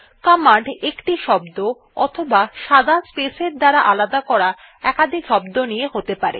command একটি শব্দ অথবা সাদা স্পেসের দ্বারা আলাদা করা একাধিক শব্দ নিয়ে হতে পারে